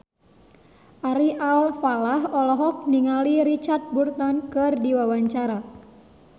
Ari Alfalah olohok ningali Richard Burton keur diwawancara